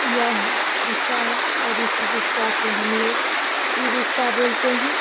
यह रिक्शा है और इसी रिक्शा को हमलोग ई-रिक्शा बोलते है।